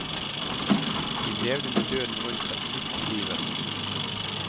De levde med døden rundt seg midt i livet.